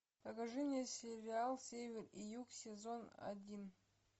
покажи мне сериал север и юг сезон один